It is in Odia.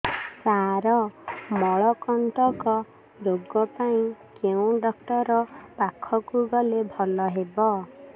ସାର ମଳକଣ୍ଟକ ରୋଗ ପାଇଁ କେଉଁ ଡକ୍ଟର ପାଖକୁ ଗଲେ ଭଲ ହେବ